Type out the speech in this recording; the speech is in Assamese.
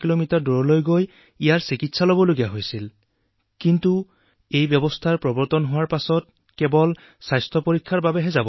নমস্কাৰ নমস্কাৰ ছাৰ